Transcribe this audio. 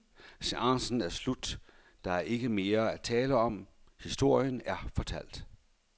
Seancen er slut, der er ikke mere at tale om, historien er fortalt.